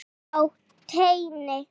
Á teini.